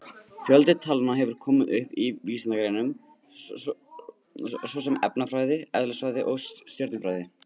Fjöldi talna hefur komið upp í vísindagreinum svo sem efnafræði, eðlisfræði og stjörnufræði.